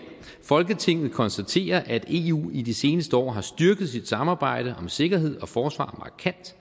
folketinget konstaterer at eu i de seneste år har styrket sit samarbejde om sikkerhed og forsvar markant